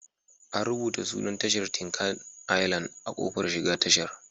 An rubuta sunan tashar Tinkan Island a kofar shiga tashar.